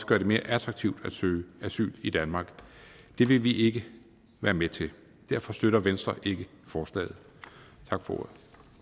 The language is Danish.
gøre det mere attraktivt at søge asyl i danmark det vil vi ikke være med til derfor støtter venstre ikke forslaget